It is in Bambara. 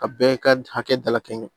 Ka bɛɛ ka hakɛ dalakɛɲɛ